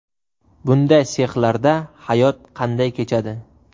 Bunday sexlarda hayot qanday kechadi?